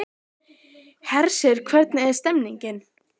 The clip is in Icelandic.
Af hverju þurfa að vera nánast tveir bæjarstjórar núna?